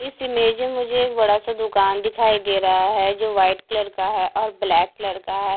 इस इमेज में मुझे एक बड़ा सा दुकान दिखाई दे रहा है जो व्हाइट कलर का है और ब्लैक कलर का है।